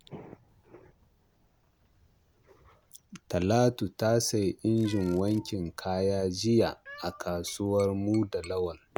Talatu ta sayi injin wankin kaya jiya a kasuwar Muda Lawal.